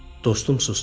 Dostum susdu.